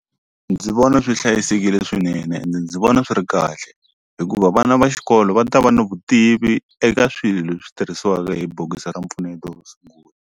Ndzi vona swi hlayisekile swinene ende ndzi vona swi ri kahle hikuva vana va xikolo va ta va ni vutivi eka swilo leswi tirhisiwaka hi bokisi ra mpfuneto .